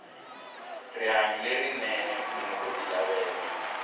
rihanyo lerinene munhu oti lavela